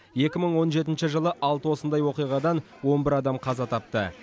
екі мың он жетінші жылы алты осындай оқиғадан он бір адам қаза тапты